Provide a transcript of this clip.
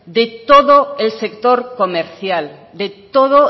de todo el sector comercial de todo